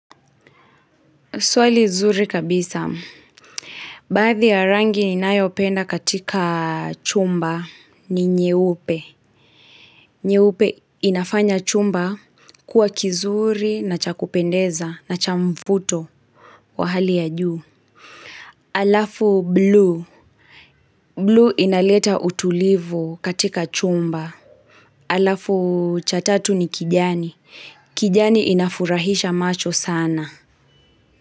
Swali zuri kabisa. Baadhi ya rangi ninayopenda katika chumba ni nyeupe. Nyeupe inafanya chumba kuwa kizuri na cha kupendeza na cha mvuto wa hali ya juu. Alafu blue. Blue inaleta utulivu katika chumba. Alafu cha tatu ni kijani. Kijani inafurahisha macho sana.